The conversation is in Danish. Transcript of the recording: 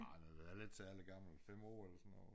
Ah nu var jeg heller ikke særlig gammel 5 år eller sådan noget